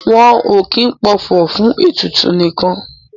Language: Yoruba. Wọn o kin pọfọ̀ fun ètùtù nikan.